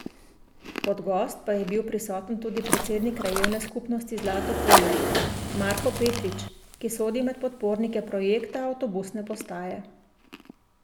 Kot gost pa je bil prisoten tudi predsednik krajevne skupnosti Zlato polje Marko Petrić, ki sodi med podpornike projekta avtobusne postaje.